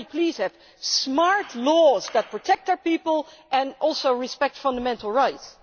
Can we please have smart laws that protect our people and also respect fundamental rights?